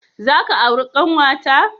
Za ka auri ƙanwata?